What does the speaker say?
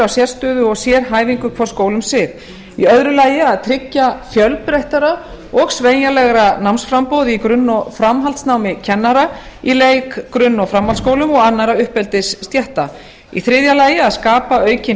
á sérstöðu og sérhæfingu hvors skóla um sig annars að tryggja fjölbreyttara og sveigjanlegra námsframboð í grunn og framhaldsnámi kennara í leik grunn og framhaldsskólum og annarra uppeldisstétta þriðja að skapa aukin